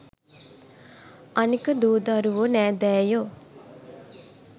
අනෙක දූ දරුවො නෑදෑයෝ